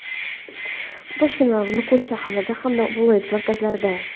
Toshkent va Nukus shaharlari hamda viloyat markazlarida:.